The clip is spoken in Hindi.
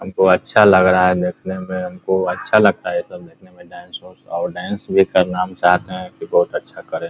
हमको अच्छा लग रहा है देखने में हमको अच्छा लगता है ये सब देखने में डांस - उन्स और डांस भी करना हम चाहते हैं की बहुत अच्छा करें ।